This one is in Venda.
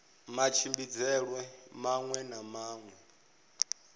matshimbidzelwe maṅwe na maṅwe a